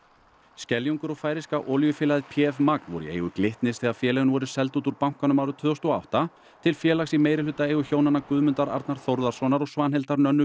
Skeljungur og færeyska olíufélagið p f magn voru í eigu Glitnis þegar félögin voru seld út úr bankanum árið tvö þúsund og átta til félags í meirihlutaeigu hjónanna Guðmundar Arnar Þórðarsonar og Svanhildar Nönnu